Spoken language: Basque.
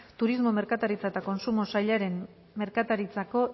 turismo merkataritza eta kontsumo sailaren merkataritzako